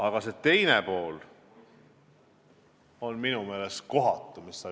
Aga sinu jutu teine pool on minu meelest kohatu.